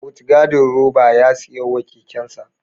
Mutgadin roba ya siya wa kekensa